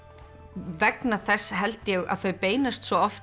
vegna þess held ég að þau beinast svo oft